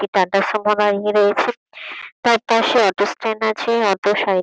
একটি টাটা সুমো দাঁড়িয়ে রয়েছে। তার পাশে অটো স্ট্যান্ড আছে। অটো সাই--